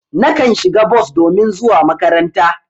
Nakan shiga bos domin zuwa makaranta.